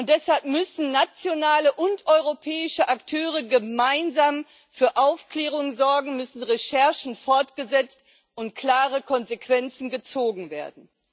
Deshalb müssen nationale und europäische Akteure gemeinsam für Aufklärung sorgen, müssen Recherchen fortgesetzt und klare Konsequenzen gezogen werden.